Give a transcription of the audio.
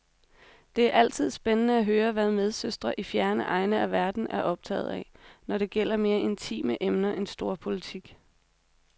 Det er altid spændende at høre, hvad medsøstre i fjerne egne af verden er optaget af, når det gælder mere intime emner end storpolitik.